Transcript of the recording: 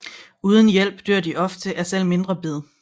Uden hjælp dør de ofte af selv mindre bid